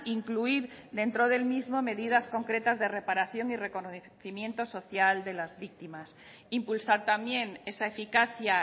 incluir dentro del mismo medidas concretas de reparación y reconocimiento social de las víctimas impulsar también esa eficacia